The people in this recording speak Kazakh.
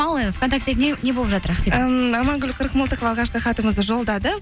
ал вконтакте не болып жатыр ақбибі ммм амангүл қырықмылтықова алғашқы хатымызды жолдады